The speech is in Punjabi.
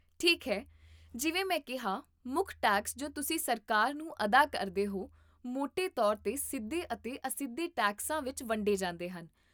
ਠੀਕ ਹੈ, ਜਿਵੇਂ ਮੈਂ ਕਿਹਾ, ਮੁੱਖ ਟੈਕਸ ਜੋ ਤੁਸੀਂ ਸਰਕਾਰ ਨੂੰ ਅਦਾ ਕਰਦੇ ਹੋ, ਮੋਟੇ ਤੌਰ 'ਤੇ ਸਿੱਧੇ ਅਤੇ ਅਸਿੱਧੇ ਟੈਕਸਾਂ ਵਿੱਚ ਵੰਡੇ ਜਾਂਦੇ ਹਨ